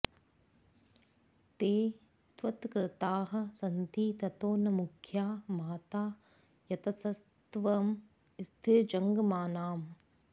ते त्वत्कृताः सन्ति ततो न मुख्या माता यतस्त्वं स्थिरजङ्गमानाम्